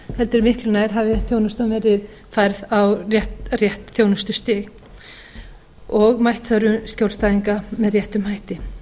heldur miklu nær hafi þjónustan verið færð á rétt þjónustustig og bætt þörfum skjólstæðinga með réttum hætti